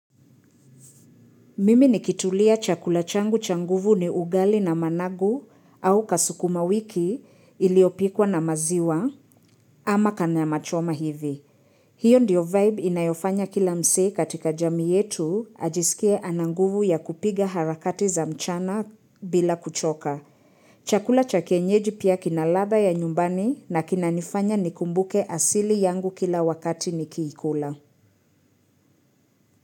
Mimi nikitulia chakula changu cha nguvu ni ugali na managu au kasukuma wiki iliopikwa na maziwa ama kana machoma hivi. Hiyo ndiyo vibe inayofanya kila mzee katika jamii yetu ajisikia ana nguvu ya kupiga harakati za mchana bila kuchoka. Chakula cha kienyeji pia kinaladha ya nyumbani na kinanifanya nikumbuke asili yangu kila wakati nikiikula.